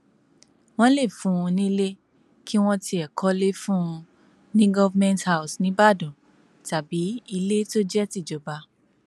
wọn lè fún un nílé kí wọn tiẹ kọlé fún un ní government house níìbàdàn tàbí ilé tó jẹ tìjọba